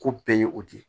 Ko bɛɛ ye o de ye